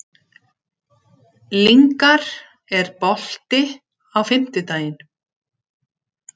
Lyngar, er bolti á fimmtudaginn?